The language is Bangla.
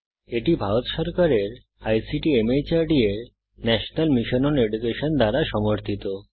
এটি ভারত সরকারের আইসিটি মাহর্দ এর ন্যাশনাল মিশন ওন এডুকেশন দ্বারা সমর্থিত